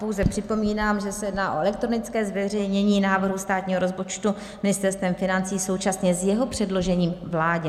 Pouze připomínám, že se jedná o elektronické zveřejnění návrhu státního rozpočtu Ministerstvem financí současně s jeho předložením vládě.